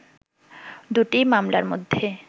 দুটি মামলার মধ্যে